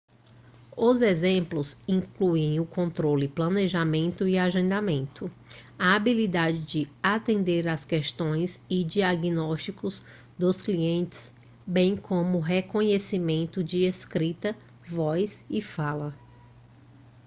os exemplos incluem o controle planejamento e agendamento a habilidade de atender as questões e diagnósticos dos clientes bem como o reconhecimento de escrita voz e fala